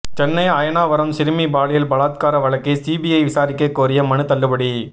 சென்னை அயனாவரம் சிறுமி பாலியல் பலாத்கார வழக்கை சிபிஐ விசாரிக்க கோரிய மனு தள்ளுபடி